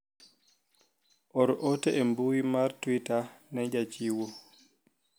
or ote e mbui mar twita ne jachiwo